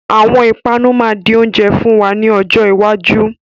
Àwọn ìpanu máa di oúnjẹ fún wa ní ọjọ́ iwájú.